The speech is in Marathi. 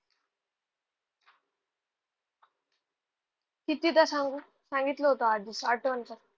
कितीदा सांगू? सांगितलं होतं आजच. आठवण कर.